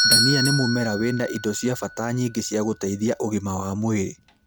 Ndania mũmera wĩna indo cia bata nyingĩ ciagũteithia ũgima wa mwĩrĩ